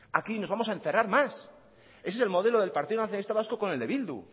aquí nos vamos a encerrar más ese es el modelo del partido nacionalista vasco con el de bildu